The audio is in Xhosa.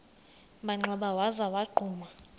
manxeba waza wagquma